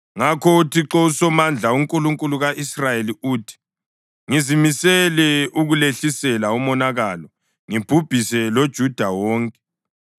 Ngakho uThixo uSomandla, uNkulunkulu ka-Israyeli uthi: Ngizimisele ukulehlisela umonakalo ngibhubhise loJuda wonke.